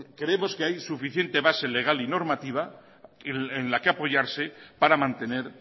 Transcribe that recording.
creemos que hay suficiente base legal y normativa en la que apoyarse para mantener